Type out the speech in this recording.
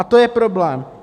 A to je problém.